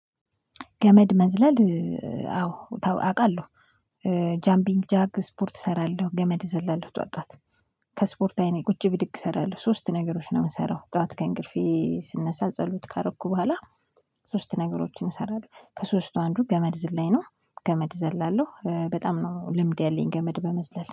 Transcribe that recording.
ገመድ መዝለል። አዎ አውቃለሁ። ጃምቢንግ ጃግ ስፖርት እሰራለሁ ገመድ እዘላለሁ ጠዋት ከስፖርታዊ እኔ ቁጭ ብድግ እሰራለሁ ሶስት ነገሮች ነው የምሰራው ጠዋት ከእንቅልፌ ስነሳ ጸሎት ካረኩ በኋላ። ሶስት ነገሮችን እሰራለሁ ከሶስቱ አንዱ ገመድ ዝላኝ ነው ገመድ እዘላለሁ በጣም ነው ልምድ ያለኝ ገመድ በመዝለል